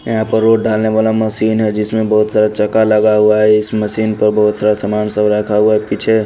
यहां पर रोड ढालने वाला मशीन है जिसमें बहुत सारा चक्का लगा हुआ है इस मशीन प बहुत सारा सामान सब रखा हुआ है पीछे--